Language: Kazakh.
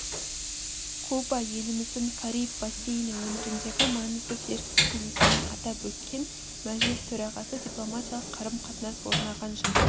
куба еліміздің кариб бассейні өңіріндегі маңызды серіктесі екенін атап өткен мәжіліс төрағасы дипломатиялық қарым-қатынас орнаған жыл